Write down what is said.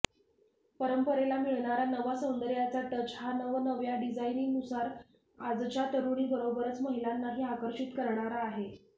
परंपरेला मिळणारा नवा सौंदर्याचा टच हा नवनव्या डिझाईननुसार आजच्या तरुणींबरोबरच महिलांनाही आकर्षित करणारा आहे